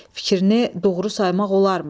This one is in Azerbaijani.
Fikrini doğru saymaq olarmı?